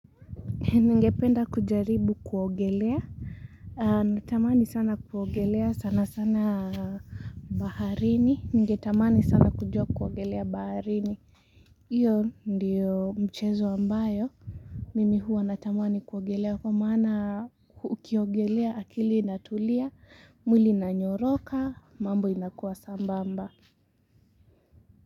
Ningependa kujaribu kuogelea, natamani sana kuogelea sana sana baharini, ningetamani sana kujua kuogelea baharini hiyo ndio Mchezo ambayo, mimi hua natamani kuogelea, kwa maana ukiogelea akili inatulia, mwili inanyoroka mambo inakuwa sambamba.